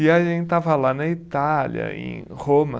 E a gente estava lá na Itália, em Roma.